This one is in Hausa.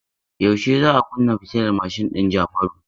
Yaushe za a kunna fitilar mashin din Jafaru?